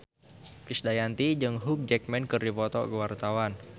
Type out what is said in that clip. Krisdayanti jeung Hugh Jackman keur dipoto ku wartawan